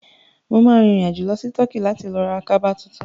Mo ma rìn rìn àjò lọ sí Turkey láti lọ ra kaba tuntun